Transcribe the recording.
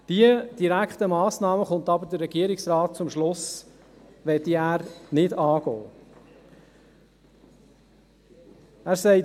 Der Regierungsrat kommt jedoch zum Schluss, dass er diese direkten Massnahmen nicht angehen möchte.